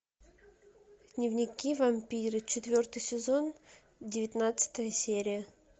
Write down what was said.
дневники вампира четвертый сезон девятнадцатая серия